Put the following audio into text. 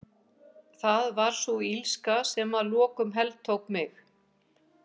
Það var sú illska sem að lokum heltók mig.